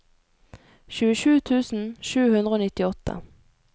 tjuesju tusen sju hundre og nittiåtte